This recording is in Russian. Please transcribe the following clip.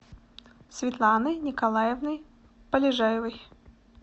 светланой николаевной полежаевой